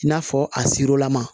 I n'a fɔ a sirilama